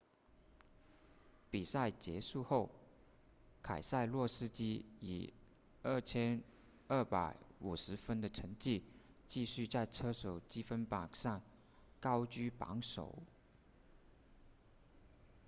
比赛结束后凯塞洛斯基以 2,250 分的成绩继续在车手积分榜上高居榜首